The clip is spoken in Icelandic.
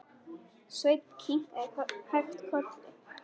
Sveinn kinkaði hægt kolli.